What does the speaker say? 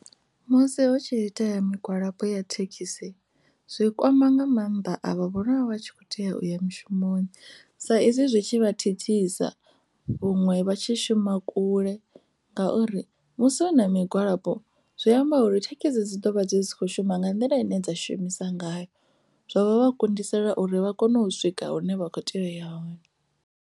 Musi hu tshi ita ya migwalabo ya thekhisi zwi kwama nga mannḓa a vha vhone vha vha tshi kho tea uya mushumoni sa izwi zwi tshi vha thithisa vhaṅwe vha tshi shuma kule ngauri musi hu na migwalabo zwi amba uri thekhisi dzi ḓovha dzi sa kho shuma nga nḓila ine dza shuma ngayo zwa vha kundisa uri vha kone u swika hune vha kho tea u ya hone.